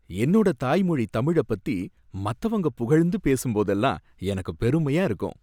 என்னோட தாய் மொழி தமிழப் பத்தி மத்தவங்க புகழ்ந்து பேசும்போதெல்லாம் எனக்கு பெருமையா இருக்கும்.